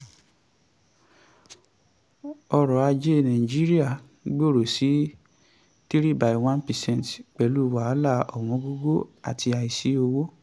ọrọ̀ ajé nàìjíríà gbòòrò sí three by one percent pẹ̀lú wàhálà ọwọ́ngógó àti àìsí owó.